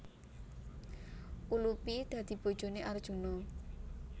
Ulupi dadi bojoné Arjuna